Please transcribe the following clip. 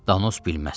Danos bilməzsən.